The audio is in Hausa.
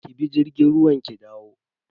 Ki bi jirgin ruwa ki dawo.